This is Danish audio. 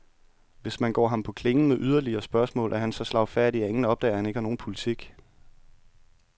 Hvis man går ham på klingen med yderligere spørgsmål, er han så slagfærdig, at ingen opdager, at han ikke har nogen politik.